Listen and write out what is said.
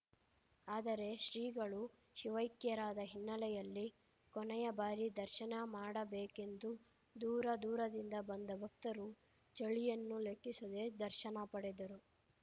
ಆದರೆ ಶ್ರೀಗಳು ಶಿವೈಕ್ಯರಾದ ಹಿನ್ನೆಲೆಯಲ್ಲಿ ಕೊನೆಯ ಬಾರಿ ದರ್ಶನ ಮಾಡಬೇಕೆಂದು ದೂರ ದೂರರಿಂದ ಬಂದ ಭಕ್ತರು ಚಳಿಯನ್ನು ಲೆಕ್ಕಿಸದೆ ದರ್ಶನ ಪಡೆದರು